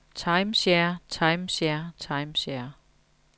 timeshare timeshare timeshare